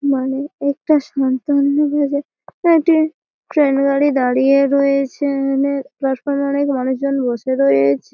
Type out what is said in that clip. মনে একটা সান্তান্ন বাজে একটি ট্রেন গাড়ি দাঁড়িয়ে রয়েছে মানে প্ল্যাটফর্ম -এ অনেক মানুষজন বসে রয়েছে।